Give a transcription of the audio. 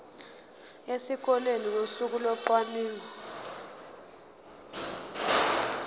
esikoleni ngosuku locwaningo